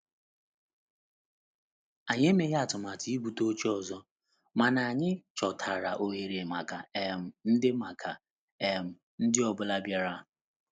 Anyị emeghị atụmatụ ibute oche ọzọ, mana anyị chọtara ohere maka um ndi maka um ndi ọ bụla bịara.